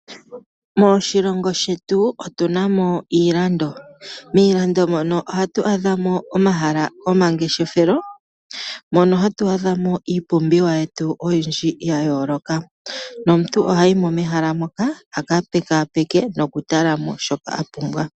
Moshilongo shetu otu na mo iilando. Miilando mono oha tu adha mo omahala gomangeshefelo, mono hatu adha mo iipumbiwa yetu oyindji ya yooloka. No muntu oha yi mo mehala moka, a ka pekaapeke no ku tala mo shoka a pumbwa.